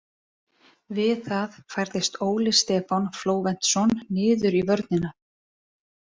Við það færðist Óli Stefán Flóventsson niður í vörnina.